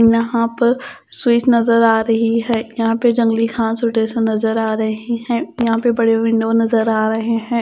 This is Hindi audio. यहां पर स्वीट नज़र आ रही है यहां पे जंगली घास और नज़र आ रही हैं यहां बड़े विंडो नज़र आ रहे हैं।